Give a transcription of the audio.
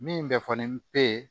Min bɛ fɔ ni be ye